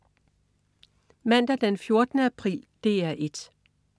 Mandag den 14. april - DR 1: